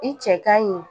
I cɛ kaɲi